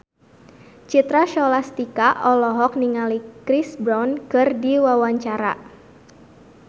Citra Scholastika olohok ningali Chris Brown keur diwawancara